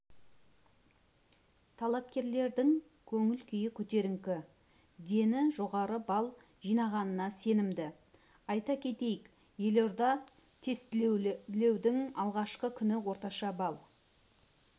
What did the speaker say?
талапкерлердің көңіл-күйі көтеріңкі дені жоғары балл жинағанына сенімді айта кетейік елордада тестілеудің алғашқы күні орташа балл